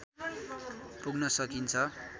पुग्न सकिन्छ।